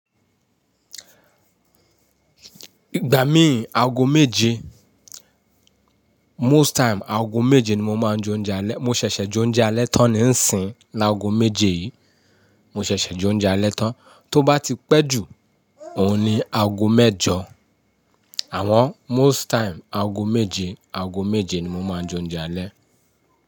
Ìgbà mí ì, aago méje, most time aago méje ni mo máa ń jẹ oúnjẹ alẹ́. Mo ṣẹ̀ṣẹ̀ jẹ oúnjẹ alẹ́ tán níìsín l'aago méje yìí. Mo ṣẹ̀ṣẹ̀ jẹ oúnjẹ alẹ́ tán, tó bá ti pẹ́ jù, òun ni aago mẹ́jọ. Àwọn most time aago méje, aago méje ni mo máa ń jẹ oúnjẹ alẹ́